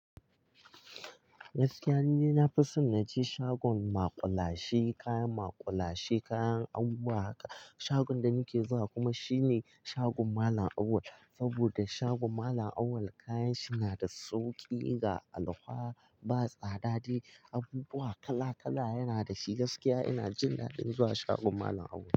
Gaskiya nide na fi son na je shagon maƙulashe, kayan maƙulashe, kayan abubuwa haka. Shagon da nake zuwa kuma shine shagon Malam Auwal. Saboda shagon Malam Auwal kayan shi na da sauƙi ga alkawa, ba tsada dai. Abubuwa kala-kala yana da shi gaskiya ina jin daɗin zuwa shagon Malam Auwal.